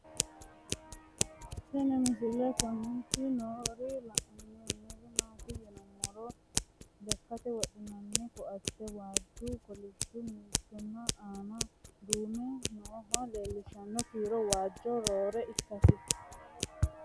Tinni misile kulittanni noorrinna la'nanniri maattiya yinummoro lekkatte wodhinnannihu koatte waajjunna kolishshu mimittu aanna duunnamme noohu leelanno kiiro waajju roore ikkassi